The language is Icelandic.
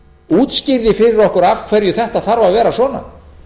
útskýrði fyrir okkur af hverju þetta þarf að vera svona